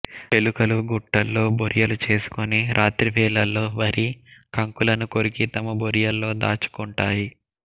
ఎలుకలు గట్టుల్లో బొరియలు చేసుకొని రాత్రి వేళల్లో వరి కంకులను కొరికి తమ బొరియల్లో దాచు కుంటాయి